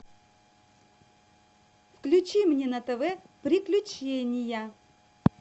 включи мне на тв приключения